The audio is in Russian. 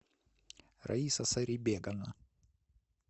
раиса сарибековна